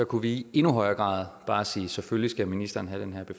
kunne vi i endnu højere grad bare sige selvfølgelig skal ministeren have den her